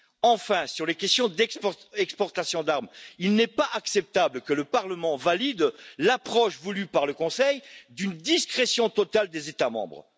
Enfin, sur les questions d'exportations d'armes, il n'est pas acceptable que le Parlement valide l'approche voulue par le Conseil d'une discrétion totale des États membres.